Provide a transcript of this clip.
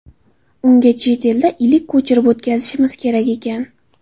Unga chet elda ilik ko‘chirib o‘tkazishimiz kerak ekan.